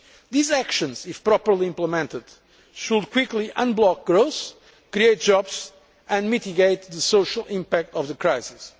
These actions, if properly implemented, should quickly unblock growth, create jobs and mitigate the social impact of the crisis.